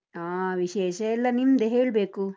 ಹಾ ವಿಶೇಷ ಎಲ್ಲ ನಿಮ್ದೆ ಹೇಳ್ಬೇಕು.